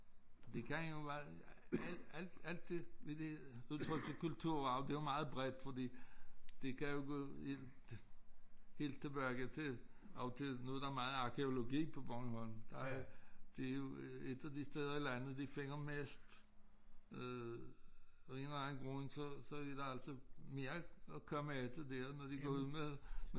Det kan jo være alt alt alt det ved det udtryk til kulturarv det jo meget bredt fordi det kan jo gå helt tilbage til oldtid nu der meget arkæologi på Bornholm der er det jo et af de steder i landet de finder mest øh af en eller anden grund så så er der altså mere at komme efter der når de går ud med